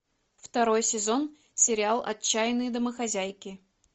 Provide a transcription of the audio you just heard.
второй сезон сериал отчаянные домохозяйки